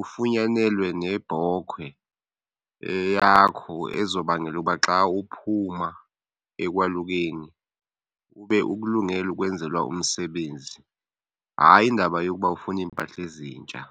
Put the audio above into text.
Ufunyanelwe nebhokhwe eyakho ezobangela uba xa uphuma ekwalukeni ube ukulungele ukwenzelwa umsebenzi, hayi indaba yokuba ufuna iimpahla ezintsha.